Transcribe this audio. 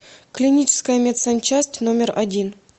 клиническая медсанчасть номер один